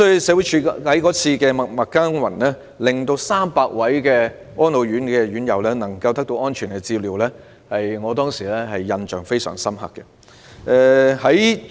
社署在該事件中默默耕耘，讓300名安老院舍的院友得到安全的照料，給我留下深刻的印象。